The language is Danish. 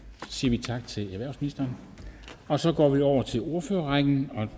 så siger vi tak til erhvervsministeren og så går vi over til ordførerrækken